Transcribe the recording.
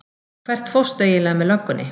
Hvert fórstu eiginlega með löggunni?